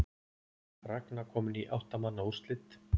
Ragna komin í átta manna úrslit